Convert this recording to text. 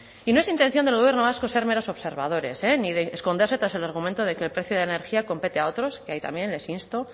y no es intención del gobierno vasco ser meros observadores ni de esconderse tras el argumento de que el precio de la energía compete a otros y ahí también les insto